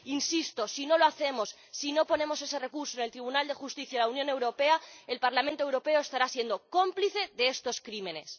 Insisto si no lo hacemos, si no interponemos ese recurso ante el Tribunal de Justicia de la Unión Europea, el Parlamento Europeo estará siendo cómplice de estos crímenes.